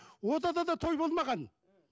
онда да той болмаған